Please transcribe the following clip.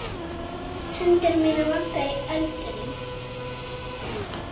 Hendur mínar vagga á öldunum.